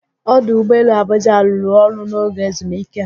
Ọdụụgbọ elu Abụjạ a rụrụ ọrụ n'oge ezumike?